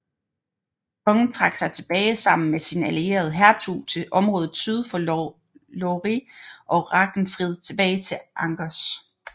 Kongen trak sig tilbage sammen med sin allierede hertug til området syd for Loire og Ragenfrid tilbage til Angers